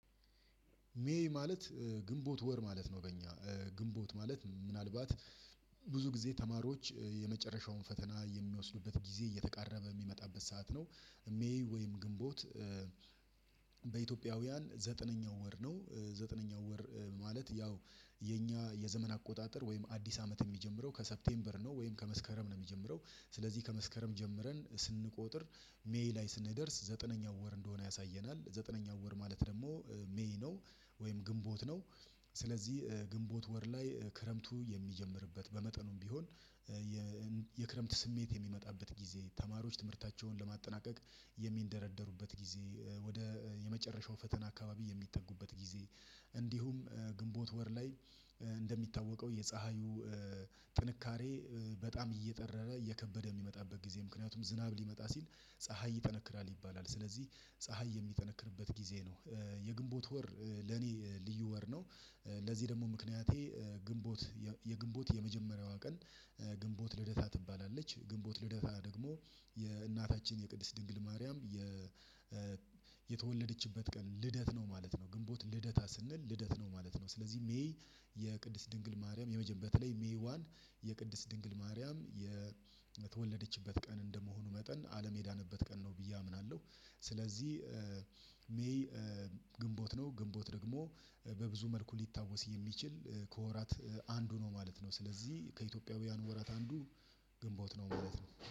ሜይ ማለት ግንቦት ወር ማለት ነው በእኛ ግንቦት ማለት ምናልባት ብዙ ጊዜ ተማሪዎች የመጨረሻውን ፈተና የሚወስዱበት ጊዜ እየተቃረበ የሚመጣበት ሰዓት ነው። ሜይ ወይም ግንቦት። በኢትዮጵያውያን ዘጠነኛው ወር ነው። ዘጠነኛው ወር ማለት ያው የኛ የዘመን አቆጣጠር ወይም አዲስ አመት የሚጀምረው ከሴፕቴምበር ነው ወይም ከመስከረም ነው የሚጀምረው። ስለዚህ ከመስከረም ጀምረን ስንቆጥር ሜይ ላይ ስንደርስ ዘጠነኛው ወር እንደሆነ ያሳየናል ዘጠነኛው ወር ማለት ደግሞ ሜይ ነው። ወይም ግንቦት ነው። ስለዚህ ግንቦት ወር ላይ ክረምቱ የሚጀምርበት በመጠኑም ቢሆን። የክረምት ስሜት የሚመጣበት ጊዜ ተማሪዎች ትምህርታቸውን ለማጠናቀቅ የሚንደረደሩበት ጊዜ ወደ የመጨረሻው ፈተና አካባቢ የሚጠጉበት ጊዜ። እንዲሁም ግንቦት ወር ላይ። እንደሚታወቀው የፀሀዩ ጥንካሬ በጣም እየጠራረ እየከበደ የሚመጣበት ጊዜ ምክንያቱም ዝናብ ሊመጣ ሲል ፀሀይ ይጠነክራል ይባላል ስለዚህ ፀሀይ የሚጠነክርበት ጊዜ ነው። የግንቦት ወር ለኔ ልዩ ወር ነው። ለዚህ ደግሞ ምክንያቴ ግንቦት የግንቦት የመጀመሪያዋ ቀን። ግንቦት ልደታ ትባላለች ግንቦት ልደታ ደግሞ የእናታችን የቅድስት ድንግል ማርያም። የተወለደችበት ቀን ልደት ነው ማለት ነው። ግንቦት ልደታ ስንል ልደት ነው ማለት ነው። ስለዚህ ሜይ የቅድስት ድንግል ማርያም የመጀመሪያ በተለይ ሜይ ዋን የቅድስት ድንግል ማርያም የተወለደችበት ቀን እንደመሆኑ መጠን አለም የዳነበት ቀን ነው ብዬ አምናለሁ። ስለዚህ ሜይ ግንቦት ነው ግንቦት ደግሞ በብዙ መልኩ ሊታወስ የሚችል ከወራት አንዱ ነው ማለት ነው። ስለዚህ ከኢትዮጵያውያን ወራት አንዱ ግንቦት ነው ማለት ነው